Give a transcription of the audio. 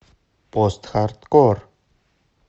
постхардкор